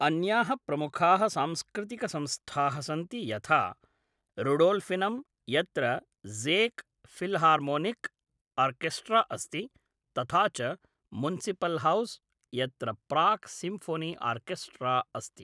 अन्याः प्रमुखाः सांस्कृतिकसंस्थाः सन्ति यथा, रूडोल्फिनम्, यत्र ज़ेक् फिल्हार्मोनिक् आर्केस्ट्रा अस्ति, तथा च मुन्सिपल्हौस्, यत्र प्राग् सिम्फ़ोनी आर्केस्ट्रा अस्ति।